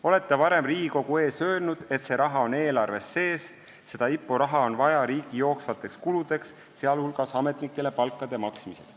Olete varem Riigikogu ees öelnud, et see raha on eelarves sees, seda IPO raha on vaja riigi jooksvateks kuludeks, sealhulgas ametnikele palkade maksmiseks.